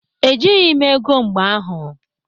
Ejịghị m ego mgbe ahụ.